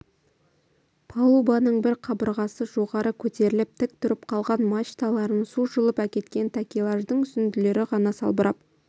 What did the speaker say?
палубаның бір қабырғасы жоғары көтеріліп тік тұрып қалған мачталарын су жұлып әкеткен такелаждың үзінділері ғана салбырап